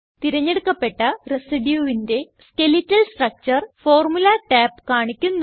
തിരഞ്ഞെടുക്കപ്പെട്ട residueന്റെ skeletal structure formula tab കാണിക്കുന്നു